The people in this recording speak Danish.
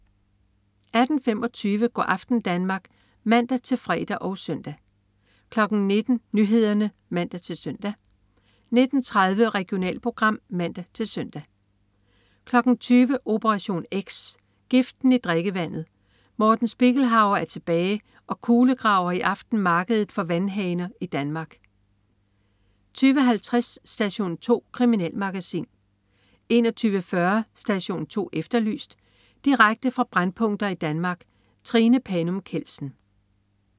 18.25 Go' aften Danmark (man-fre og søn) 19.00 Nyhederne (man-søn) 19.30 Regionalprogram (man-søn) 20.00 Operation X. Giften i drikkevandet. Morten Spiegelhauer er tilbage og kulegraver i aften markedet for vandhaner i Danmark 20.50 Station 2. Kriminalmagasin 21.40 Station 2 Efterlyst. Direkte fra brændpunkter i Danmark. Trine Panum Kjeldsen